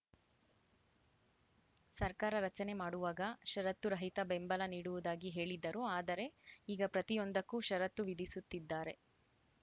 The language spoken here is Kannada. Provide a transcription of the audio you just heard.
ಸರ್ಕಾರ ರಚನೆ ಮಾಡುವಾಗ ಷರತ್ತುರಹಿತ ಬೆಂಬಲ ನೀಡುವುದಾಗಿ ಹೇಳಿದ್ದರು ಆದರೆ ಈಗ ಪ್ರತಿಯೊಂದಕ್ಕೂ ಷರತ್ತು ವಿಧಿಸುತ್ತಿದ್ದಾರೆ